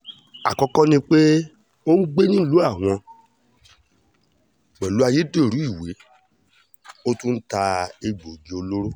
àkọ́kọ́ ni pé ó ń gbé nílùú àwọn pẹ̀lú ayédèrú ìwé ó tún ń ta egbòogi olóró